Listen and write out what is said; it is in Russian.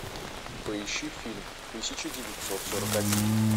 поищи фильм тысяча девятьсот сорок один